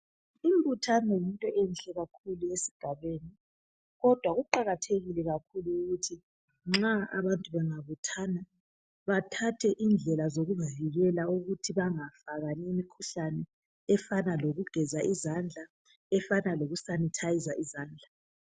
Imbuthano yinto enhle kakhulu esigabeni. Kodwa kuqakathekile kakhulu ukuthi nxa abantu bengabuthana bathathe indlela zokuzivikela ukuthi bangafakani imikhuhlani, efana lokugeza izandla, efana lukusanithayiza izandla.